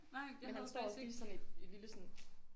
Men han står også lige sådan et et lille sådan